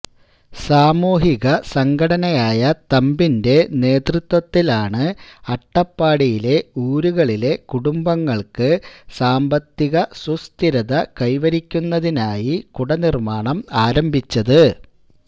സാമൂഹിക സംഘടനയായ തമ്പിന്റെ നേതൃത്വത്തിലാണ് അട്ടപ്പാടിയിലെ ഊരുകളിലെ കുടുംബങ്ങൾക്ക് സാമ്പത്തികസുസ്ഥിരത കൈവരിക്കുന്നതിനായി കുടനിർമ്മാണം ആരംഭിച്ചത്